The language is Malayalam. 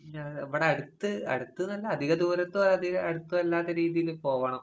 ഞാ ഇവടടുത്ത് അടുത്ത്ന്ന് പറഞ്ഞാ അധിക ദൂരത്തോ അധിക അടുത്തോ അല്ലാത്ത രീതീല് പോവണം.